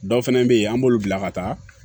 Dɔw fɛnɛ be yen an b'olu bila ka taa